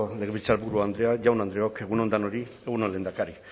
legebiltzarburu andrea jaun andreok egun on denoi egun on lehendakari